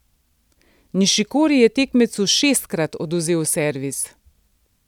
Nišikori je tekmecu šestkrat odvzel servis.